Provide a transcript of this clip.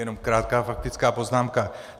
Jenom krátká faktická poznámka.